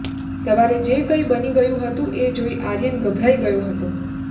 સવારે જે કંઈ બની ગયું હતું એ જોઈ આર્યન ગભરાઈ ગયો હતો